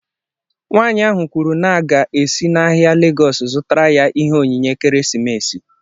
Nwanyị ahụ kwuru na a ga-esi n’ahịa Legọọsu zụtara ya Ihe onyinye ekeresimesi